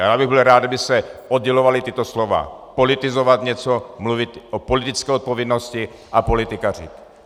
A já bych byl rád, kdyby se oddělovala tato slova: politizovat něco, mluvit o politické odpovědnosti, a politikařit.